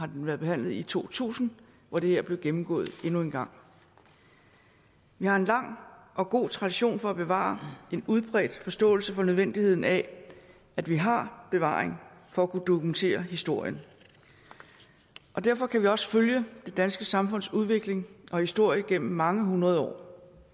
den behandlet i to tusind hvor det her blev gennemgået endnu en gang vi har en lang og god tradition for at bevare og en udbredt forståelse for nødvendigheden af at vi har bevaring for at kunne dokumentere historien derfor kan vi også følge det danske samfunds udvikling og historie igennem mange hundrede år